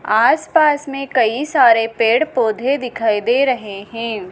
आस पास में कई सारे पेड़ पौधे दिखाई दे रहे हैं।